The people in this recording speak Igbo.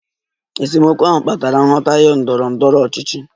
Esemokwu ahụ kpatara nghọtahie ndọrọ ndọrọ ọchịchị